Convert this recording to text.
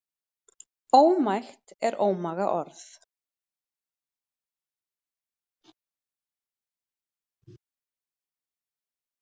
Ómætt eru ómaga orð.